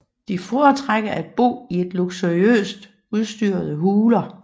De foretrækker at bo i luksuriøst udstyrede huler